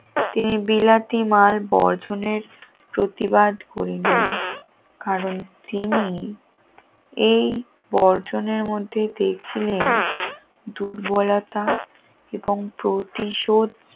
তিনি বিলাতি মার বর্ষণের প্রতিবাদ করলেন কারণ তিনি এই বর্জনের মধ্যে দেখছিলেন দুর্বলতা এবং প্রতিশ